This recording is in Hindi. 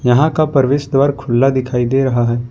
यहां का प्रवेश द्वार खुला दिखाई दे रहा है।